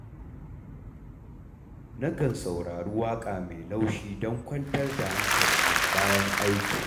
Na kan saurari waƙa mai laushi don kwantar da hankalina bayan aiki.